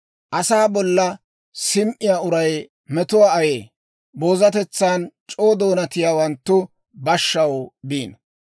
Asaa bolla sim"iyaa uray metuwaa ayee. Boozatetsan c'oo doonatiyaawanttu bashshaw biino.